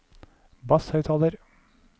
basshøyttaler